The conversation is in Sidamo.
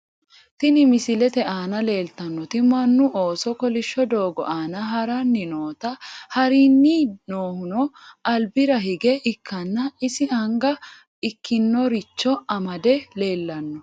Tni misilete aana leeltannoti mannu ooso kolishsho doogo aana haranni noota harinni noohuno albira hige ikkanna isi anga ikkinoricho amade leellanno.